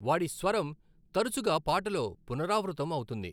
వాడి స్వరం తరచుగా పాటలో పునరావృతం అవుతుంది.